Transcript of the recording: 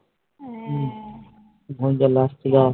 ঘুম চলে আসছিলো